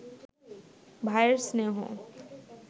ভায়ের স্নেহ